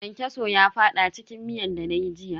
Kyankyaso ya fada cikin miyan dana yi jiya.